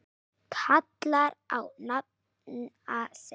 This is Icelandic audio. kallar á nafna sinn